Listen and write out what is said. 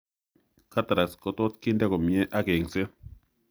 Cataracts kotot kinde komyee ak eng'seet